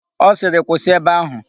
Ọ sịrị, "kwụsị ebe áhụ̀"!